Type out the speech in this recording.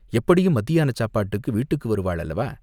"எப்படியும் மத்தியானச் சாப்பாட்டுக்கு வீட்டுக்கு வருவாள் அல்லவா?